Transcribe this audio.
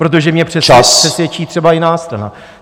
Protože mě přesvědčí třeba jiná strana.